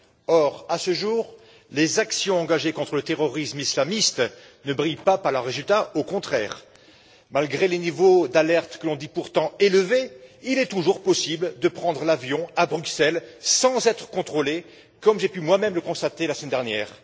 Or, à ce jour, les actions engagées contre le terrorisme islamiste ne brillent pas par leurs résultats, au contraire. Malgré les niveaux d'alerte, que l'on dit pourtant élevés, il est toujours possible de prendre l'avion à Bruxelles sans être contrôlé, comme j'ai pu moi même le constater la semaine dernière.